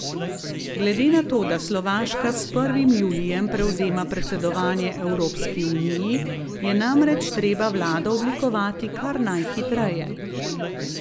Glede na to, da Slovaška s prvim julijem prevzema predsedovanje Evropski uniji, je namreč treba vlado oblikovati kar najhitreje.